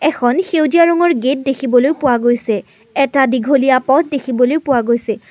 এখন সেউজীয়া ৰঙৰ গেট দেখিবলৈ পোৱা গৈছে এটা দীঘলীয়া পথ দেখিবলৈ পোৱা গৈছে।